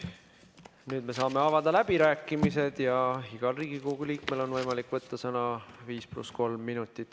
Nüüd me saame avada läbirääkimised ja igal Riigikogu liikmel on võimalik võtta sõna 5 + 3 minutit.